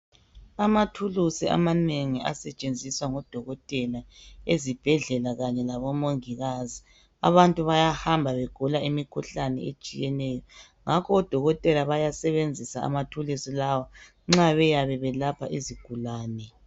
Amathulusi amanengi asetshenziswa ngodokotela ezibhedlela kanye labomongikazi. Abantu bayahamba begula imikhuhlane etshiyeneyo, ngakho odokotela bayasebenzisa amathulusi lawa nxa beyabe belapha izigulane.